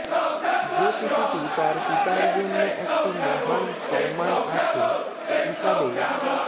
যে শিশুটি তার পিতার জন্য একটি মহান সম্মান আছে হিসাবে